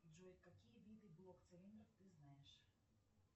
джой какие виды блок цилиндров ты знаешь